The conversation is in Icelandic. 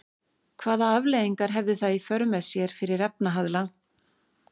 Hvaða afleiðingar hefði það í för með sér fyrir efnahag landsins?